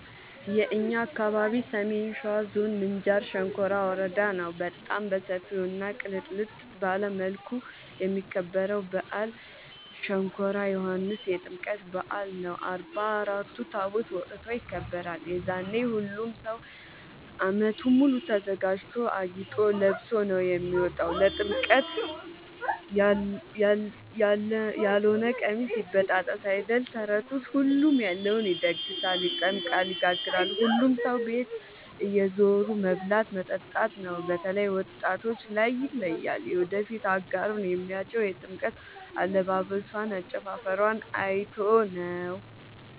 የእኛ አካባቢ ሰሜን ሸዋ ዞን ምንጃር ሸንኮራ ወረዳ ነው። በጣም በሰፊው እና ቅልጥልጥ ባለ መልኩ የሚከበረው በአል ሸንኮራ ዮኋንስ የጥምቀት በአል ነው። አርባ አራት ታቦት ወጥቶ ይከብራል። የዛኔ ሁሉም ሰው አመቱን ሙሉ ተዘጋጅቶ አጊጦ ለብሶ ነው የሚወጣው ለጥምቀት ያሎነ ቀሚስ ይበጣጠስ አይደል ተረቱስ ሁሉም ያለውን ይደግሳል። ይጠምቃል ይጋግራል ሁሉም ሰው ቤት እየዞሩ መብላት መጠጣት ነው። በተላይ ወጣቶች ላይ ይለያል። የወደፊት አጋሩን የሚያጨው የጥምቀት አለባበሶን አጨፉፈሯን አይቶ ነው።